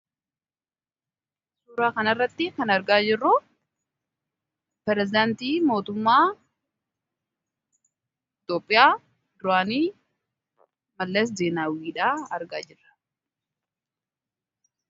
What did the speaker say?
Suuraa kanarratti kan argaa jirru perezidaantii mootummaa Itoophiyaa duraani Mallas Zeenaawwiidha argaa jirra.